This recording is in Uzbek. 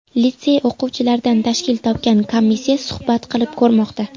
Litsey o‘qituvchilaridan tashkil topgan komissiya suhbat qilib ko‘rmoqda.